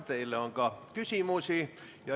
Teile on küsimusi.